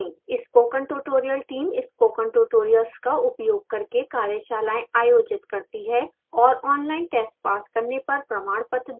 spoken tutorial team spoken tutorials का उपयोग करके कार्यशालाएँ आयोजित करती है और ऑनलाइन टेस्ट पास करने पर प्रमाणपत्र देती है